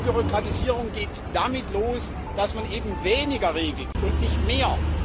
Entbürokratisierung geht damit los, dass man eben weniger regelt und nicht mehr.